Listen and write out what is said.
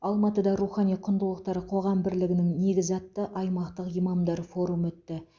алматыда рухани құндылықтар қоғам бірлігінің негізі атты аймақтық имамдар форумы өтті